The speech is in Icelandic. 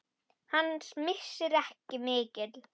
Hans missir er mikill.